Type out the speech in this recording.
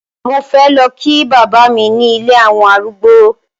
Mo fé lọ kí bàbá mi ní ilé àwọn arúgbó.